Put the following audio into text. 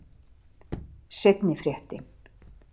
Seinni fréttin.